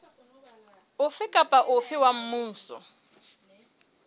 ofe kapa ofe wa mmuso